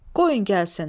Qoyun gəlsin.